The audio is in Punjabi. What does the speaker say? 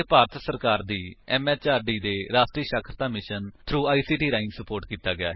ਭਾਰਤ ਸਰਕਾਰ ਦੀ ਐਮਐਚਆਰਡੀ ਦੇ ਰਾਸ਼ਟਰੀ ਸਾਖਰਤਾ ਮਿਸ਼ਨ ਥ੍ਰੋ ਆਈਸੀਟੀ ਰਾਹੀਂ ਸੁਪੋਰਟ ਕੀਤਾ ਗਿਆ ਹੈ